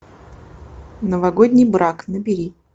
новогодний брак набери